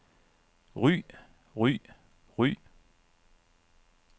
ry ry ry